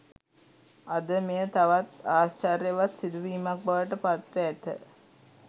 අද මෙය තවත් ආශ්චර්යවත් සිදුවීමක් බවට පත්ව ඇත